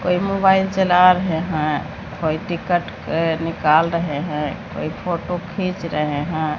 कोई मोबाइल चला रहे है कोई टिकट निकाल रहे हैं कोई फोटो खींच रहे हैं।